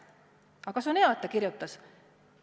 Aga see on hea, et ta kirjutas.